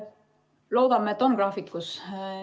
Loodame, et ollakse graafikus.